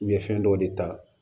U ye fɛn dɔw de ta